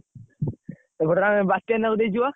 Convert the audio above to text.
ଏପଟରେ ଆମେ ବାତ୍ୟାନା କୁ ଦେଇଛୁ ବା।